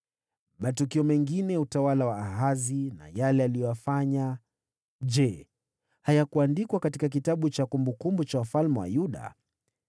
Matukio mengine ya utawala wa Ahazi na yale aliyoyafanya, je hayakuandikwa katika kitabu cha kumbukumbu za wafalme wa Yuda?